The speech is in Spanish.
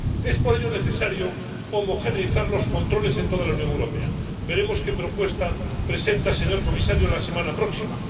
Es por ello necesario homogeneizar los controles en toda la Unión Europea veremos qué propuesta presenta, señor comisario, la semana próxima